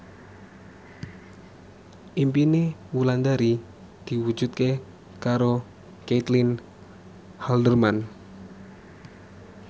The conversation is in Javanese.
impine Wulandari diwujudke karo Caitlin Halderman